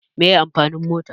Meye amfanin mota?